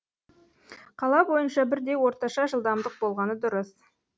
қала бойынша бірдей орташа жылдамдық болғаны дұрыс